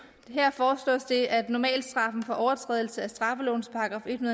her foreslås det at normalstraffen for overtrædelse af straffelovens § en